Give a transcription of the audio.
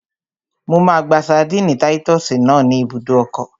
Mo máa gba ṣadínnì táyítọ́sì náà ní ibùdó ọkọ̀